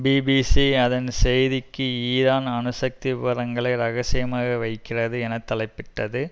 BBC அதன் செய்திக்கு Iran அணுசக்தி விபரங்களை இரகசியமாக வைக்கிறது என தலைப்பிட்டது